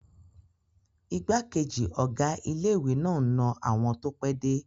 Igbákejì ọ̀gá ilé-ìwé náà n na àwọn tó pẹ́ dé